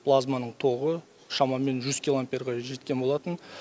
плазманың тогы шамамен жүз килоамперға жеткен болатын